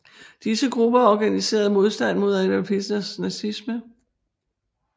Disse grupper organiserede modstand mod Adolf Hitlers nazisme